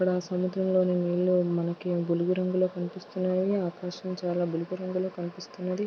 అక్కడ సముద్రంలో నీళ్ళు బులుగు రంగు లో కనిపిస్తున్నాయి. ఆకాశం చాలా రంగులో కనిపిస్తుంది.